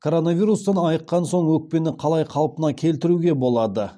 коронавирустан айыққан соң өкпені қалай қалпына келтіруге болады